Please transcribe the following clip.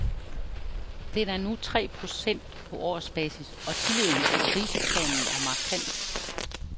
Den er nu tre procent på årsbasis og tilliden til kriseplanen er markant.